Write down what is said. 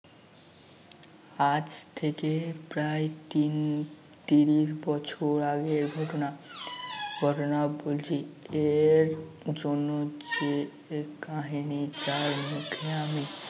আজ থেকে প্রায় তিন তিরিশ বছর আগের ঘটনা ঘটনা বলছি এর জন্য যে কাহিনী যার মুখে আমি